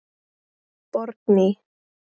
Borgný